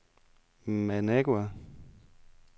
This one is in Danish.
Managua